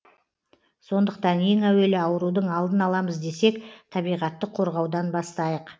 сондықтан ең әуелі аурудың алдын аламыз десек табиғатты қорғаудан бастайық